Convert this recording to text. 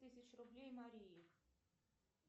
тысяч рублей марии